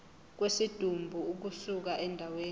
kwesidumbu ukusuka endaweni